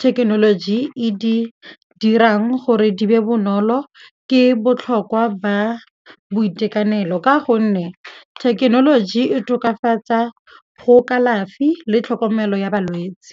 thekenoloji e di dirang gore di be bonolo ke botlhokwa ba boitekanelo ka gonne thekenoloji e tokafatsa go kalafi le tlhokomelo ya balwetse.